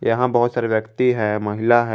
यहां बहोत सारे व्यक्ति हैं महिला है।